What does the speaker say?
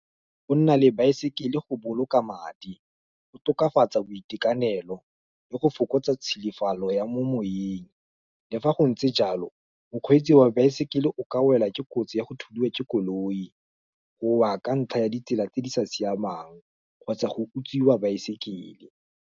Go nna le baesekele go boloka madi, go tokafatsa boitekanelo, le go fokotsa tsholofelo ya mo moweng, le fa go ntse jalo, bokgweetsi wa baesekele o ka wela ke kotsi ya go thudiwa ke koloi, go wa ka ntlha ya ditsela tse di sa siamang, kgotsa go utswiwa baesekele.